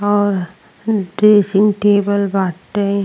और dressing table बाटे।